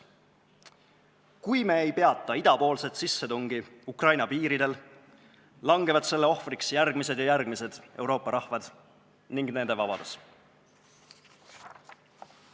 Kui me ei peata idapoolset sissetungi Ukraina piiridel, langevad selle ohvriks järgmised ja järgmised Euroopa rahvad ning nende vabadus.